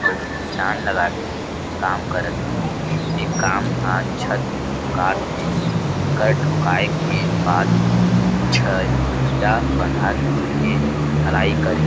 अउ जान लगा के काम करत हे इ काम हा छत ठोकाथे एकर ठोकाये के बाद छह खड़िया बंधात के ढलाई करही --